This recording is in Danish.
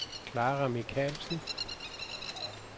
Clara Michaelsen